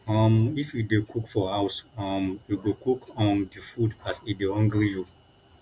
um if you dey cook for house um you go cook um di food as e dey hungry you